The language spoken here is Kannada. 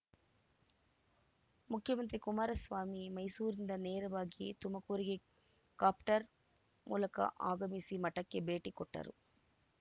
ಮುಖ್ಯಮಂತ್ರಿ ಕುಮಾರಸ್ವಾಮಿ ಮೈಸೂರಿನಿಂದ ನೇರವಾಗಿ ತುಮಕೂರಿಗೆ ಕಾಪ್ಟರ್‌ ಮೂಲಕ ಆಗಮಿಸಿ ಮಠಕ್ಕೆ ಭೇಟಿ ಕೊಟ್ಟರು